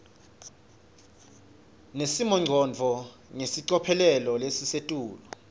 nesimongcondvo ngelicophelo lelisetulu